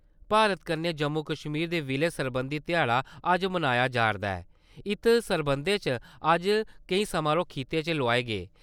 भारत कन्नै जम्मू-कश्मीर दे विलय सरबंधी ध्याड़ा अज्ज मनाया जारदा ऐ, इत सरबंधै च अज्ज केईं समारोह खित्ते च लोआए गे।